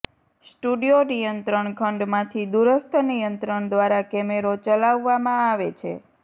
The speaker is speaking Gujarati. સ્ટુડિયો નિયંત્રણ ખંડમાંથી દૂરસ્થ નિયંત્રણ દ્વારા કૅમેરો ચલાવવામાં આવે છે